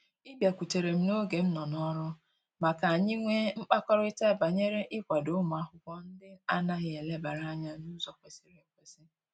Ị bịakutere m n'oge m nọ n'ọrụ, ma ka anyị nwe mkpakọrịta banyere ịkwado ụmụ akwụkwọ ndị a naghị elebara anya n'ụzọ kwesịrị ekwesị